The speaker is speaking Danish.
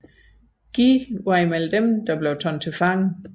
Guy var blandt dem der blev taget til fange